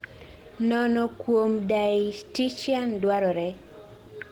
Nono kuom dietitian dwarore